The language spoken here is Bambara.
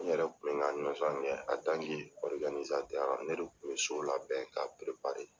N yɛrɛ kun bɛ n ka ne de kun bɛ so labɛn ka